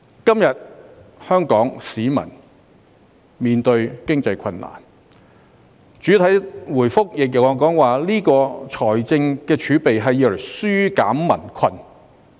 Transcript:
今天，香港市民面對經濟困難，而主體答覆亦指出財政儲備的作用是"紓減民困"。